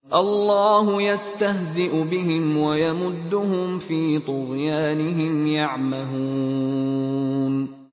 اللَّهُ يَسْتَهْزِئُ بِهِمْ وَيَمُدُّهُمْ فِي طُغْيَانِهِمْ يَعْمَهُونَ